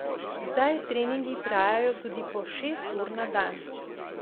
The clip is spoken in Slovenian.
Zdaj treningi trajajo tudi po šest ur na dan.